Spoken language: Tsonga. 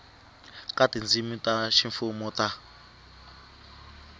ka tindzimi ta ximfumo ta